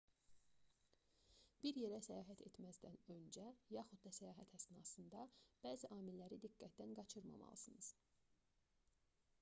bir yerə səyahət etməzdən öncə yaxud da səyahət əsnasında bəzi amilləri diqqətdən qaçırmamalısınız